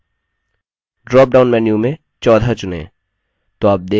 drop down menu में 14 चुनें